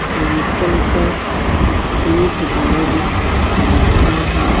Temple का gate लग रहा है।